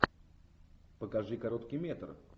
покажи короткий метр